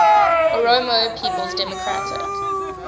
oromo people's democratic